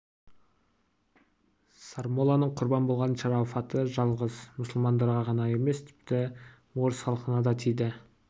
сармолланың құрбан болған шарафаты жалғыз мұсылмандарға ғана емес тіпті орыс халқына да тиді ол ғана